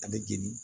A bɛ jeni